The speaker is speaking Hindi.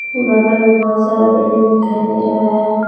बगल में बहोत सारा बिल्डिंग दिखाई दे रहा है।